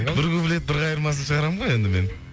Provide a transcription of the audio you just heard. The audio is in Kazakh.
бір куплет бір қайырмасын шығарамын ғой енді мен